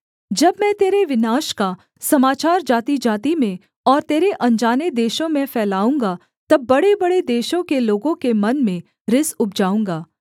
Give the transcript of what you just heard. जब मैं तेरे विनाश का समाचार जातिजाति में और तेरे अनजाने देशों में फैलाऊँगा तब बड़ेबड़े देशों के लोगों के मन में रिस उपजाऊँगा